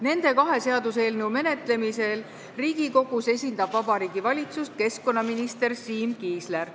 Nende kahe seaduseelnõu menetlemisel Riigikogus esindab Vabariigi Valitsust keskkonnaminister Siim Kiisler.